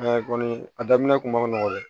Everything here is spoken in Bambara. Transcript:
kɔni a daminɛ kun ma nɔgɔ dɛ